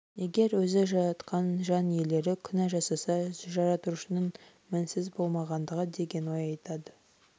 егер өзі жаратқан жан иелері күнә жасаса жаратушының мінсіз болмағаны деген ой айтады